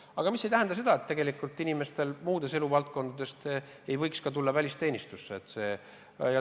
Aga see ei tähenda seda, et inimesed muudest eluvaldkondadest ei võiks välisteenistusse tulla.